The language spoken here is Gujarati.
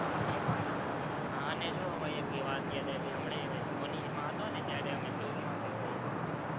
મે માં હમ અને જો એક વાત યાદ આવી, હમણાં મૌનીમાં હતો ને ત્યારે અમે tour માં પણ ગયેલા.